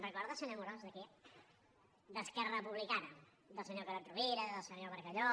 recorda senyor amorós de qui d’esquerra republicana del senyor carod rovira del senyor bargalló